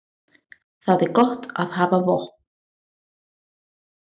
Það er gott að hafa von.